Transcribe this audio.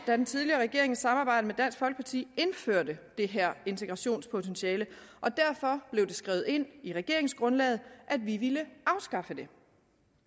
da den tidligere regering i samarbejde med dansk folkeparti indførte det her integrationspotentiale og derfor blev det skrevet ind i regeringsgrundlaget at vi ville afskaffe det